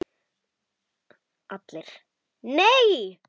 ALLIR: Nei!